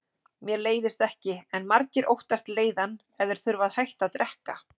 Mér leiðist ekki, en margir óttast leiðann ef þeir þurfa að hætta að drekka.